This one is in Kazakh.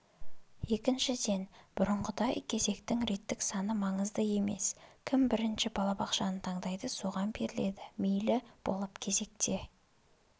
екіншіден бұрынғыдай кезектің реттік саны маңызды емес кім бірінші балабақшаны таңдайды соған беріледі мейлі болып кезекте